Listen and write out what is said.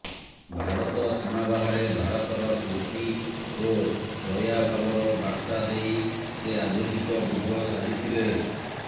ଭାରତ ସୀମା ବାହାରେ ଭାରତର କୀର୍ତ୍ତି ଓ ଦୟାଭାବର ବାର୍ତା ଦେଇ ସେ ଆଧୁନିକ ବୁଦ୍ଧ ସାଜିଥିଲେ